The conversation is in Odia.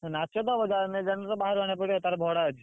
ହଁ ନାଚ ତ ହବ generator ତ ବାହାରୁ ଆଣିବାକୁ ପଡିବ ତାର ଭଡା ଅଛି।